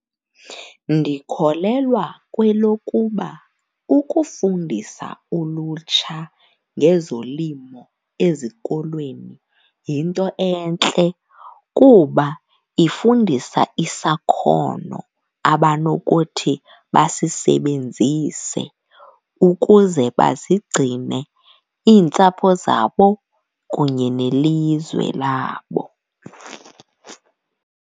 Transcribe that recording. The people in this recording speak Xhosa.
Ndikholelwa kwelokuba ukufundisa ulutsha ngezolimo ezikolweni yinto entle kuba ifundisa isakhono abanokuthi basisebenzise ukuze bazigcine iintsapho zabo kunye nelizwe labo.